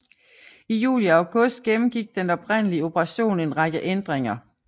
I juli og august gennemgik den oprindelige operation en række ændringer